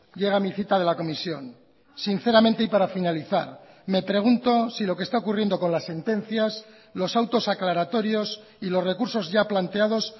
llega mi cita de la comisión sinceramente y para finalizar me pregunto si lo que está ocurriendo con las sentencias los autos aclaratorios y los recursos ya planteados